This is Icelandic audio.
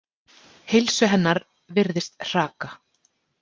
Heilsu hennar virðist hraka.